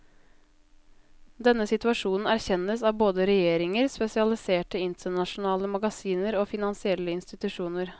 Denne situasjonen erkjennes av både regjeringer, spesialiserte internasjonale magasiner og finansielle institusjoner.